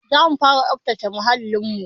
Zamu fara tsabtace muhalin mu